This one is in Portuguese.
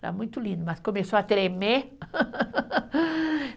Era muito lindo, mas começou a tremer.